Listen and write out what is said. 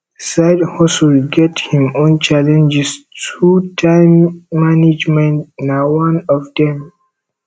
side hustle get him own challenges too time management na one of dem